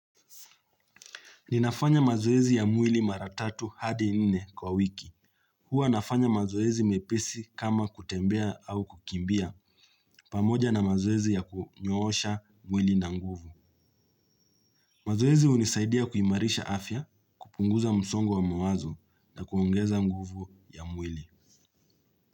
Ninafanya mazoezi ya mwili maratatu hadi nne kwa wiki. Hua nafanya mazoezi mepesi kama kutembea au kukimbia pamoja na mazoezi ya kunyoosha mwili na nguvu. Mazoezi unisaidia kuimarisha afya kupunguza msongo wa mawazo na kuongeza nguvu ya mwili.